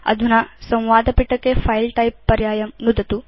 अधुना संवादपिटके फिले टाइप पर्यायं नुदतु